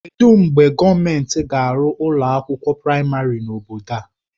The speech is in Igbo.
Kedụ mgbe gọọmentị ga-arụ ụlọ akwụkwọ praịmarị n'obodo a?